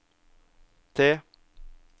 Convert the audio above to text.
T